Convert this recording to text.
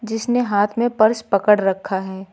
जिसने हाथ में पर्स पकड़ रखा है।